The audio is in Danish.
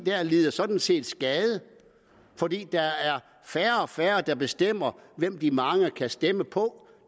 lider sådan set skade fordi der er færre og færre der bestemmer hvem de mange kan stemme på